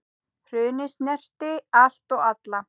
Hrunið snerti allt og alla.